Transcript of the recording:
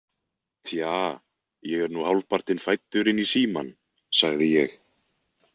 Tja, ég er nú hálfpartinn fæddur inn í Símann, sagði ég.